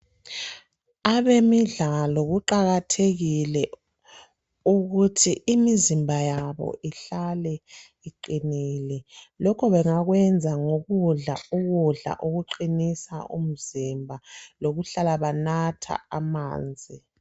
Abemidlalo kuqakathekile ukuthi imizimba yabo ihlake iqinile, lokho bengakwenza ngokudla ukudla okuqinisa umzimba lokulala bathanatha amanzi.